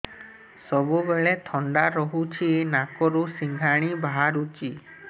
ସବୁବେଳେ ଥଣ୍ଡା ରହୁଛି ନାକରୁ ସିଙ୍ଗାଣି ବାହାରୁଚି